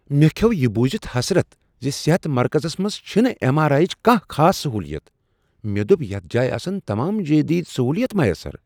مےٚ کھیوٚو یہ بوٗزتھ حسرت ز صحت مرکزس منز چھنہٕ ایم آر آیی ہٕچ کانٛہہ خاص سہولت مےٚ دوٚپ یتھ جایہ آسن تمام جدید سہولیات میسر